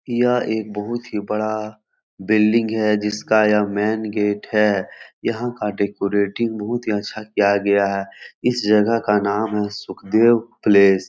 यह एक बहुत ही बड़ा बिल्डिंग है जिसका यह मेन गेट है यहाँ का डेकोरेटिंग बहुत ही अच्छा किया गया है इस जगह का नाम है सुखदेव प्लेस ।